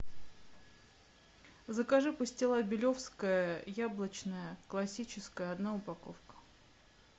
закажи пастила белевская яблочная классическая одна упаковка